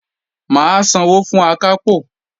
Mà á sanwó fún Akápò